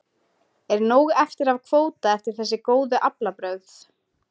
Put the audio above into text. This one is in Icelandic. Er nóg eftir af kvóta eftir þessi góðu aflabrögð?